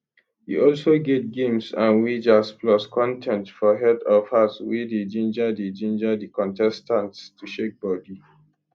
e also get games and wagers plus contest for head of house wey dey ginger dey ginger di contestants to shake bodi